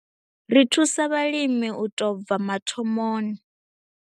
Ri thusa vhalimi u tou bva mathomoni.